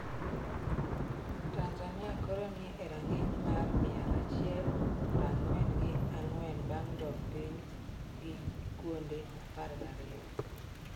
Tanzania koro ni e rang'iny mar mia achiel prang'wen gi ang'wenbang' dok piny gi kuonde 12.